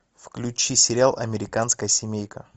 включи сериал американская семейка